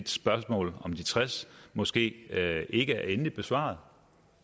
spørgsmålet om de tres måske ikke er endeligt besvaret